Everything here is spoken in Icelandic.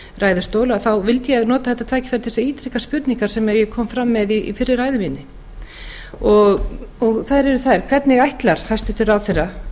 ræðustól vildi ég nota þetta tækifæri til þess að ítreka spurningar sem ég kom fram með í fyrri ræðu minni þær eru hvernig ætlar hæstvirtur ráðherra